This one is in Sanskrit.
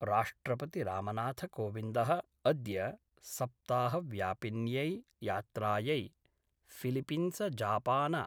राष्ट्रपति रामनाथकोविन्दः अद्य सप्ताहव्यापिन्यै यात्रायै फिलिपिंसजापान